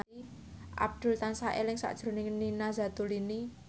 Abdul tansah eling sakjroning Nina Zatulini